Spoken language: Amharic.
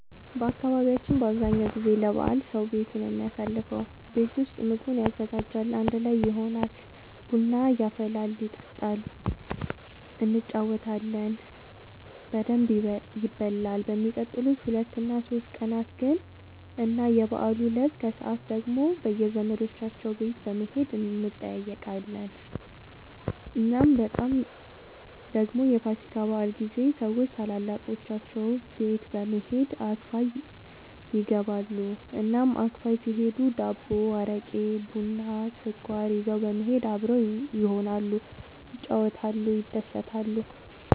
በአካባቢያችን አብዛኛው ጊዜ ለበዓል ሰዉ ቤቱ ነው የሚያሳልፈው። ቤት ውስጥ ምግቡን ያዘጋጃል፣ አንድ ላይ ይሆናል፣ ቡና ይፈላል ይጠጣል እንጫወታለን በደንብ ይበላል በሚቀጥሉት ሁለት እና ሶስት ቀናት ግን እና የበዓሉ እለት ከሰዓት ደግሞ በየዘመዶቻቸው ቤት በመሄድ እንጠያየቃለን። እናም በጣም ደግሞ የፋሲካ በዓል ጊዜ ሰዎች ታላላቆቻቸው ቤት በመሄድ አክፋይ ይገባሉ። እናም አክፋይ ሲሄዱ ዳቦ፣ አረቄ፣ ቡና፣ ስኳር ይዘው በመሄድ አብረው ይሆናሉ፣ ይጫወታሉ፣ ይደሰታሉ።